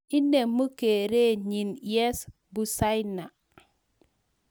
Inemu kerenyi Yves Bucyana